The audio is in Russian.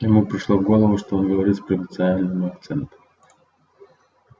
ему пришло в голову что он говорит с провинциальным акцентом